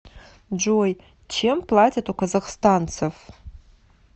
джой чем платят у казахстанцев